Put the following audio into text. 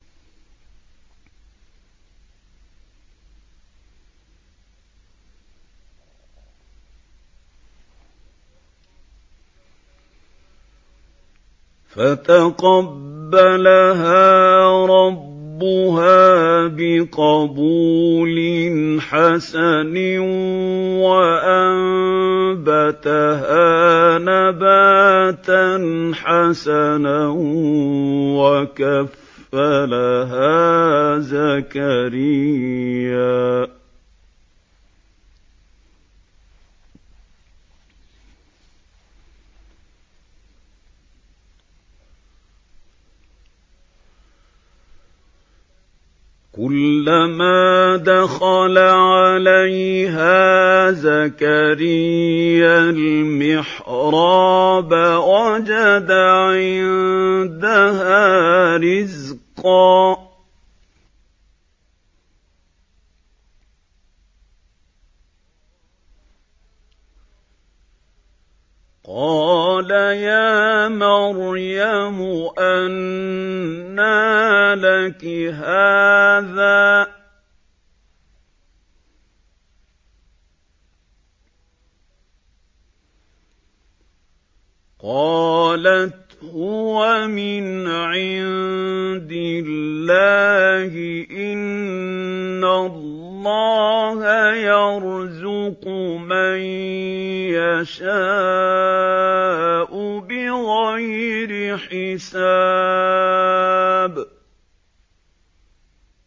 فَتَقَبَّلَهَا رَبُّهَا بِقَبُولٍ حَسَنٍ وَأَنبَتَهَا نَبَاتًا حَسَنًا وَكَفَّلَهَا زَكَرِيَّا ۖ كُلَّمَا دَخَلَ عَلَيْهَا زَكَرِيَّا الْمِحْرَابَ وَجَدَ عِندَهَا رِزْقًا ۖ قَالَ يَا مَرْيَمُ أَنَّىٰ لَكِ هَٰذَا ۖ قَالَتْ هُوَ مِنْ عِندِ اللَّهِ ۖ إِنَّ اللَّهَ يَرْزُقُ مَن يَشَاءُ بِغَيْرِ حِسَابٍ